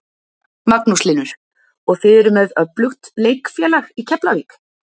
Magnús Hlynur: Og þið eruð með öflugt leikfélag í Keflavík?